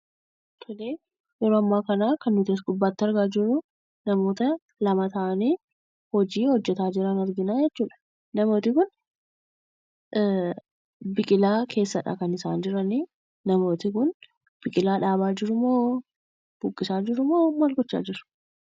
Tolee, yeroo ammaa kana kan nuti as gubbaatti argaa jirruu namoota lama ta'anii hojii hojjetaa jiran arginaa jechuudha. Namooti kun biqilaa keessadha kan isaan jiranii. Namooti kun biiqilaa dhaabaa jirumoo? buqqisaa jirumoo maal gochaa jiru?